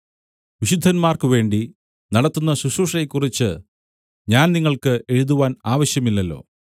വിശുദ്ധന്മാർക്കുവേണ്ടി നടത്തുന്ന ശുശ്രൂഷയെക്കുറിച്ച് ഞാൻ നിങ്ങൾക്ക് എഴുതുവാൻ ആവശ്യമില്ലല്ലോ